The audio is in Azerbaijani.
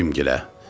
Bibim gilə.